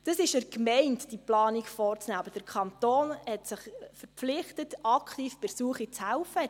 Es ist an der Gemeinde, diese Planung vorzunehmen, aber der Kanton hat sich verpflichtet, bei der Suche aktiv zu helfen.